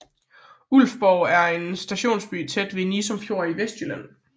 Ulfborg er en stationsby tæt ved Nissum Fjord i Vestjylland